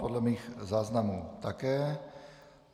Podle mých záznamů také.